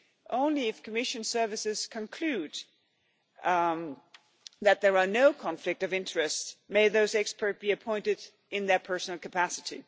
Only if the Commission services conclude that there is no conflict of interest may those experts be appointed in their personal capacity.